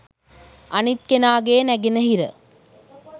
අනිත් කෙනාගේ නැගෙනහිර